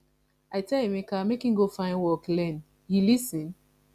i tell emeka make im go find work learn he lis ten